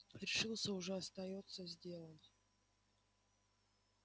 решился уже остаётся сделать